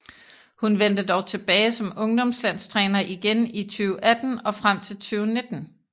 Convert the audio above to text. Hun vendte dog tilbage som ungdomslandstræner igen i 2018 og frem til 2019